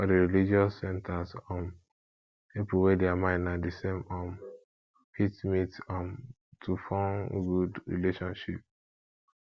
for di religious religious centers um pipo wey their mind na di same um fit meet um to forn good friendship